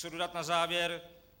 Co dodat na závěr?